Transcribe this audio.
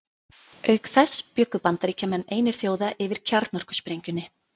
Auk þess bjuggu Bandaríkjamenn einir þjóða yfir kjarnorkusprengjunni.